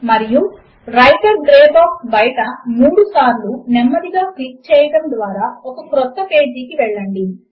మరియు writer grey box బయట మూడుసార్లు నెమ్మదిగా క్లిక్ చేయడము ద్వారా ఒక క్రొత్త పేజీకు వెళ్ళండి